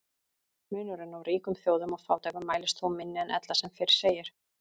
Munurinn á ríkum þjóðum og fátækum mælist þó minni en ella sem fyrr segir.